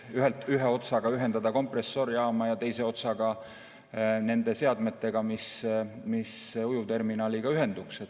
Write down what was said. Ühest otsast tuleb see ühendada kompressorijaamaga ja teisest otsast nende seadmetega, mis ujuvterminaliga ühenduks.